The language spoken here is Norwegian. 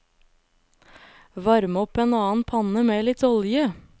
Varm opp en annen panne med litt olje.